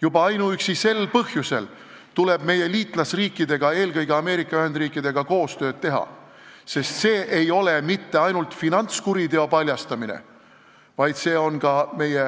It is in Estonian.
Juba ainuüksi sel põhjusel tuleb meie liitlasriikidega, eelkõige Ameerika Ühendriikidega koostööd teha, sest see ei ole mitte ainult finantskuriteo paljastamine, vaid see on ka meie